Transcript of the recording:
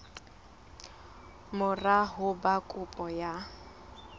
mora ho ba kopo ya